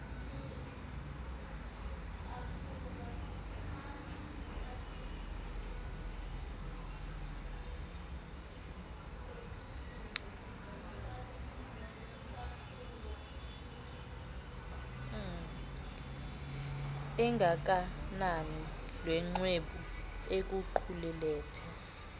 engengakanani luxwebhu oluqulethe